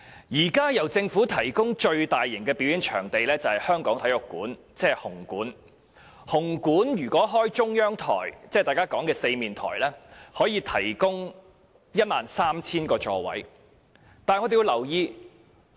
現時由政府提供的最大型表演場地是香港體育館，紅館如採用中央台進行表演，可提供 13,000 個座位。